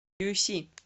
юйси